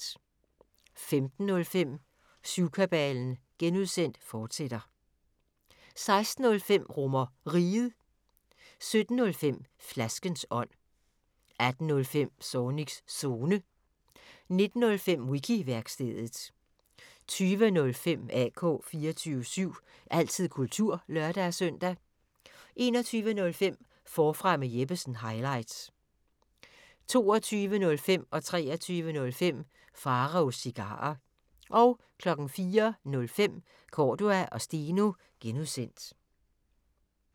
15:05: Syvkabalen (G), fortsat 16:05: RomerRiget 17:05: Flaskens ånd 18:05: Zornigs Zone 19:05: Wiki-værkstedet 20:05: AK 24syv – altid kultur (lør-søn) 21:05: Forfra med Jeppesen – highlights 22:05: Pharaos Cigarer 23:05: Pharaos Cigarer 04:05: Cordua & Steno (G)